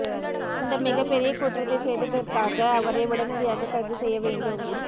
இந்த மிகப்பெரிய குற்றத்தை செய்ததற்காக அவரை உடனடியாக கைது செய்ய வேண்டும்